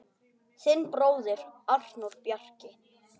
Þinn bróðir, Arnór Bjarki.